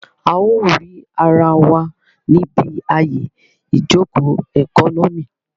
A ó rì ara wa níbi àyè ìjòkó ẹkọ́nọ́mì